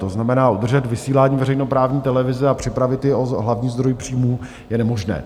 To znamená, udržet vysílání veřejnoprávní televize a připravit ji o hlavní zdroj příjmů je nemožné.